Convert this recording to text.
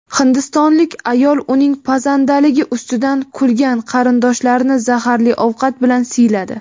Hindistonlik ayol uning pazandaligi ustidan kulgan qarindoshlarini zaharli ovqat bilan siyladi.